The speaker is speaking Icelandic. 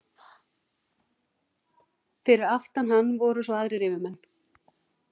Fyrir aftan hann voru svo aðrir yfirmenn.